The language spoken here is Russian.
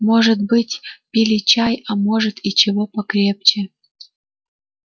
может быть пили чай а может и чего покрепче